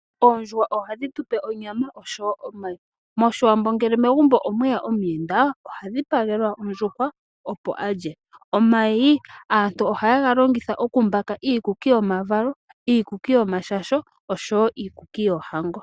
Oondjuhwa ohadhi tupe onyama oshowo omayi. Moshiwambo ngele megumbo omweya omuyenda oha dhipagelwa ondjuhwa opo alye. Omayi aantu ohaye ga longitha oku mbaka iikuki yomavalo, iikuki yomashasho oshowo iikuki yoohango.